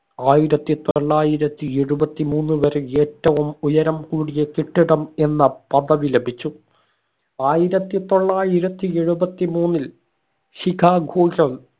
ആയിരത്തി തൊള്ളായിരത്തി എഴുപത്തി മൂന്ന് വരെ ഏറ്റവും ഉയരം കൂടിയ കെട്ടിടം എന്ന പദവി ലഭിച്ചു ആയിരത്തി തൊള്ളായിരത്തി എഴുപത്തി മൂന്നിൽ ചിക്കാഗോ